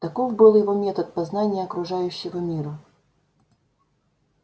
таков был его метод познания окружающего мира